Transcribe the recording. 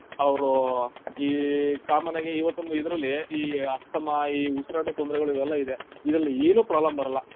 ಅವ್ರು ಈ common ಆಗಿ ಇವತ್ತೊಂದು ಇದ್ರಲ್ಲಿ, ಈ ಅಸ್ತಮಾ, ಈ ಉಸ್ರಾಟದ್ ತೊಂದ್ರೆಗಳು ಇವೆಲ್ಲಾ ಇದೆ. ಇದ್ರಲ್ಲಿ ಏನೂ problem ಬರಲ್ಲ.